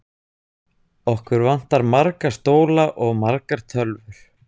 Okkur vantar marga stóla og margar tölvur.